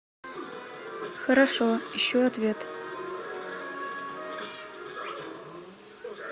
хорошо ищу ответ